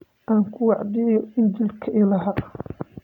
Aan ku wacdiyo injiilka Ilaah